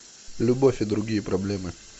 любовь и другие проблемы